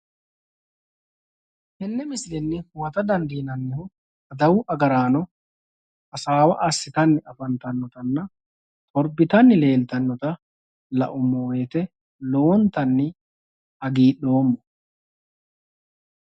Tenne misilenni huwata dandiinannihu adawu agaraano hasaawa assitanni afantannotanna torbitanni leeltannota laummo woyite lowontanni hagidhoommo.